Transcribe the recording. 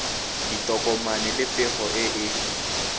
ditokomane le pego e e